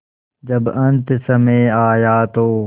जब अन्तसमय आया तो